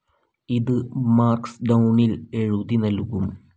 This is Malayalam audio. ഇത് മാർക്സ്ഡൗണിൽ എഴുതി നൽകും.